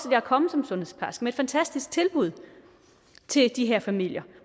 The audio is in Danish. at komme som sundhedsplejerske med et fantastisk tilbud til de her familier